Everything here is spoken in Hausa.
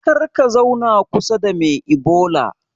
Karka zauna kusa da me ibola